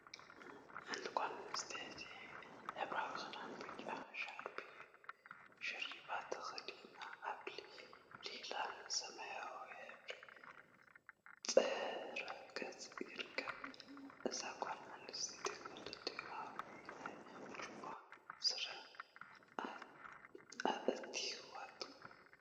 ሓንቲ ጋል ኣንስተይቲ ሕብራዊ ክዳንን ብጫ ሕብሪ ሽርፕ ተከዲና ኣብ ሊላን ሰማያዊን ሕብሪ ድሕረ ገፅ ይርከብ። እዛ ጋል ኣንስተይቲ ክልቲኡኣእዳዋ ናብ ጅባ ስሪኣ ኣእቲዋቶ ትርከ።